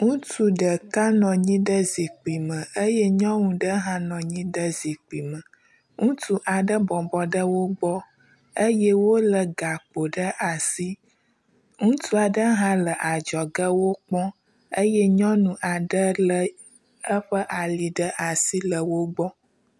Ŋutsu ɖeka nɔ anyi ɖe zikpui me eye nyɔnu ɖe hã nɔ anyi ɖe zikpui me. Ŋutsu aɖe bɔbɔ ɖe wo gbɔ eye wolé gakpo ɖe asi. Ŋutsu aɖe hã le adzɔge wokpɔm eye nyɔnu aɖe lé eƒe ali ɖe asi le wo gbɔ